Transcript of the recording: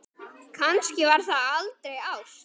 Kannski var það aldrei ást?